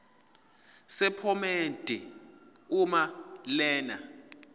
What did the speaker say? sephomedi uma lena